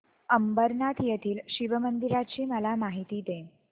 अंबरनाथ येथील शिवमंदिराची मला माहिती दे